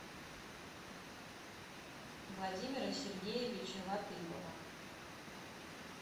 владимира сергеевича латыпова